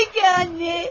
Pekə, anne.